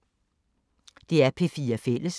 DR P4 Fælles